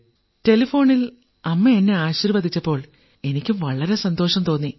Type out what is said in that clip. ടെലിഫോണിൽ അമ്മ എന്നെ ആശീർവ്വദിച്ചപ്പോൾ എനിക്കും വളരെ സന്തോഷം തോന്നി